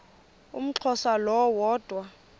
umxhosa lo woda